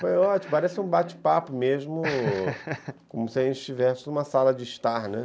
Foi ótimo, parece um bate-papo mesmo, como se a gente estivesse em uma sala de estar, né.